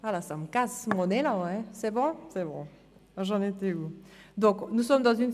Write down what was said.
(Die Sitzung wird wegen eines technischen Alors, cela casse mon élan.